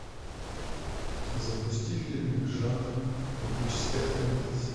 запусти фильмик жанр эпическое фэнтези